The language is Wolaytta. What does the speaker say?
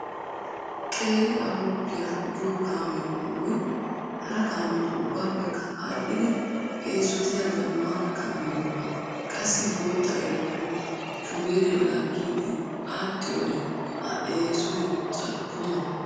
Qeeri ayruuppiya giyo kaame qommoy hara kaametu ubbaappekka aadhdhidi eesotiya zammaana kaame giyogaa. Qassi bootta ayruuppiyo shubeere laaggiiddi aadhdhiyode a eesoy carkko mala.